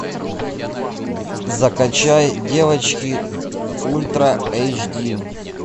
закачай девочки ультра эйч ди